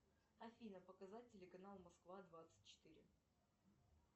афина показать телеканал москва двадцать четыре